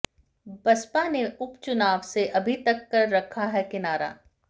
बसपा ने उपचुनाव से अभी तक कर रखा है किनारा